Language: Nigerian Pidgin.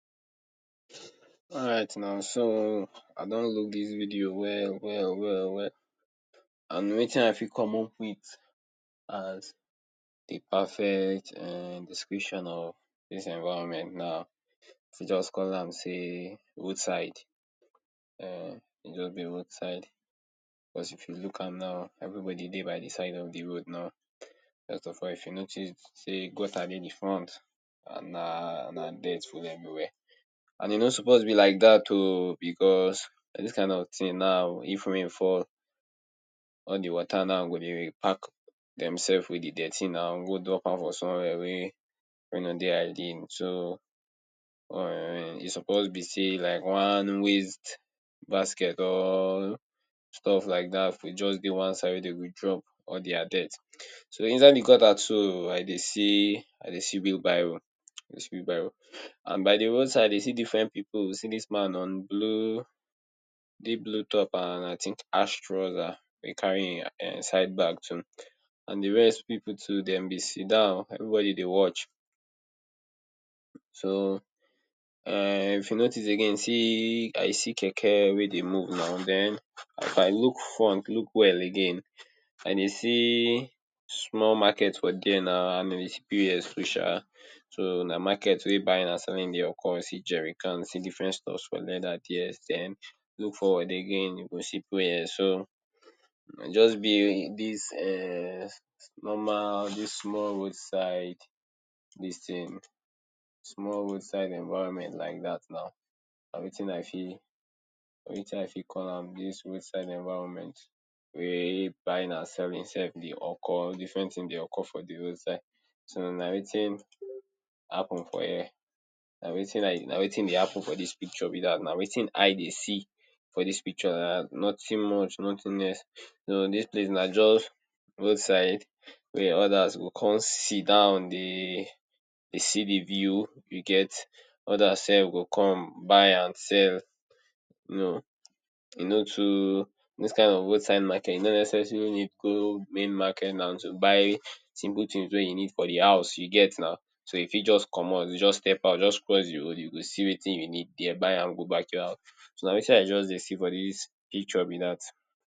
Alright nau. So, I don look dis video well well well well. And wetin I fit come up with as de perfect um description of dis environment na to just call am sey, road side. um E just be roadside. Because, if you look am now, everybody dey de side of de road now. First of all, if you notice sey de gutter dey de front, and na na dirt full everywhere. And e no suppose be like dat oh. Because, dis kain of tin now, if rain fall, all de water now go dey pack dem sef with de dirty now go drop am for somewhere wey wey no dey ideal. So, um e suppose be sey like one waste basket or stuff laidat go just dey one side wey dem go drop dia dirt. So, inside de gutter too, I dey see I dey see wheel barrow. I dey see wheel barrow. And by de roadside, I dey see different pipu. See dis man on blue, deep blue top and I think, ash trouser, wey carry im side bag too. And de rest pipu too, dem bin sidon, everybody dey watch. So, um if you notice again, see, I see keke wey dey move nau. den, if I look front, look well again, I dey see small market for there nau and with POS too sha. so na market wey buying and selling dey occur. See jerry cans, see different stuffs for leather there. Den, look forward again, you go see POS. So, na just be dis um normal, dis small road side, dis tin, small roadside environment laidat nau. Na wetin I fit, na wetin I fit call am, dis roadside environment wey buying and selling sef dey occur. Different tins dey occur for de roadside. So, na wetin happen for here. Na wetin i na wetin dey happen for dis picture be dat. Na wetin I dey see for dis picture laidat. Notin much, notin less. So, dis place na just roadside wey others go con sidon dey de see de view. You get. others sef go con buy and sell. No, e no too, those kain of roadside market, e no necessarily need go main market nau to buy simple tins wey you need for de house. You get nau. So, you fit just comot, just step out, just cross de road, you go see wetin you need there, buy am, go back your house. So, na wetin I just dey see for dis picture be dat.